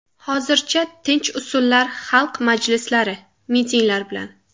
Hozircha tinch usullar xalq majlislari, mitinglar bilan.